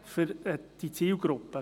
Das fordert auch der Bund.